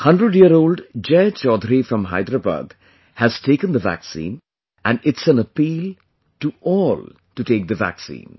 100 year old Jai Chaudhary from Hyderabad has taken the vaccine and it's an appeal to all to take the vaccine